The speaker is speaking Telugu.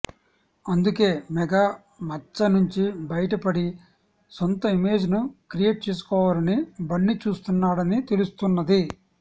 అందుకే మెగా మచ్చనుంచి బయటపడి సొంత ఇమేజ్ ను క్రియేట్ చేసుకోవాలని బన్నీ చూస్తున్నాడని తెలుస్తున్నది